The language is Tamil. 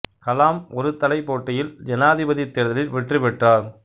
கலாம் ஒரு தலை போட்டியில் ஜனாதிபதித் தேர்தலில் வெற்றி பெற்றார்